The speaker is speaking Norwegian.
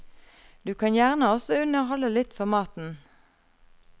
Du kan gjerne også underholde litt for maten.